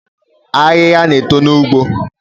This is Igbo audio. Ahịhịa na-eto n’ugbo